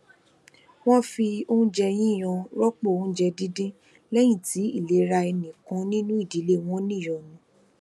wón fi oúnjẹ yiyan rópò oúnjẹ dindin léyìn tí ilera ẹnì kan nínú ìdílé wọn niyọnu